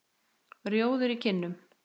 Rjóður í kinnum.